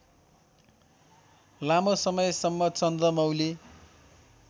लामो समयसम्म चन्द्रमौली